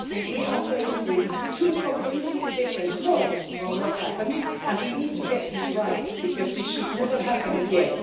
We are faced with two completely different stories on what happened and we need to get this right, because this should never happen again.